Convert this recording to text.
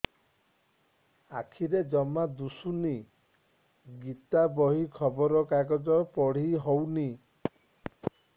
ଆଖିରେ ଜମା ଦୁଶୁନି ଗୀତା ବହି ଖବର କାଗଜ ପଢି ହଉନି